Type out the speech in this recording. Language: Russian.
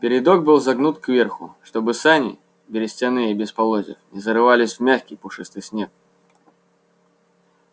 передок был загнут кверху чтобы сани берестяные без полозьев не зарывались в мягкий пушистый снег